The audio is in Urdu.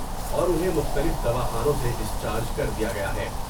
اور انہیں مختلف دوا خانوں سے ڈسچارج کر دیا گیا ہے ۔